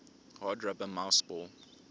hard rubber mouseball